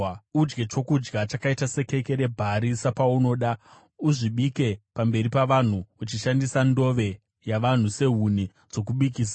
Udye chokudya chakaita sekeke rebhari sapaunoda; uzvibike pamberi pavanhu, uchishandisa ndove yavanhu sehuni dzokubikisa.”